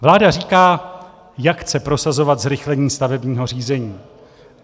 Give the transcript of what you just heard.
Vláda říká, jak chce prosazovat zrychlení stavebního řízení.